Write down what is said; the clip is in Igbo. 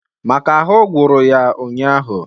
Maka ahụ gwụrụ ụnyaahụ